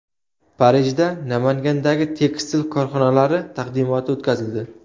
Parijda Namangandagi tekstil korxonalari taqdimoti o‘tkazildi.